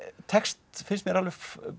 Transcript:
tekst finnst mér alveg